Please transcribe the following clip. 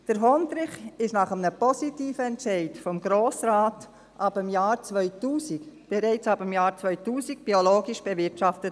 Der Hondrich wurde, nach einem positiven Entscheid des Grossen Rates, bereits ab dem Jahr 2000 biologisch bewirtschaftet.